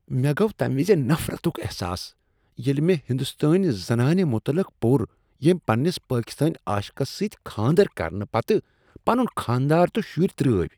مےٚ گوٚو تمہ وز نفرتک احساس ییٚلہ مےٚ ہندوستانۍ زنانہ متعلق پور ییٚمہ پنِنس پاکستٲنۍ عاشقس سۭتۍ کھاندر کرنہٕ خٲطرٕ پنٗن خانہ دار تہٕ شُرۍ ترٲوۍ ۔